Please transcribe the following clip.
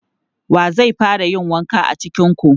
Wa zai fara yin wanka cikin ku?